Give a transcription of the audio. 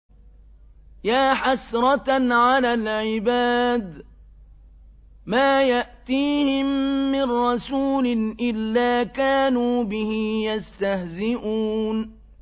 يَا حَسْرَةً عَلَى الْعِبَادِ ۚ مَا يَأْتِيهِم مِّن رَّسُولٍ إِلَّا كَانُوا بِهِ يَسْتَهْزِئُونَ